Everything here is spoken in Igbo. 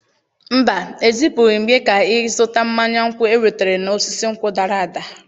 Mba, ezipụghị m gị ka ị zụta mmanya nkwụ enwetara n'osisi nkwụ dara ada.